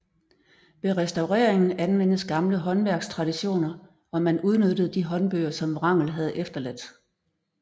Ved restaureringen anvendes gamle håndværkstraditioner og man udnyttede de håndbøger som Wrangel havde efterladt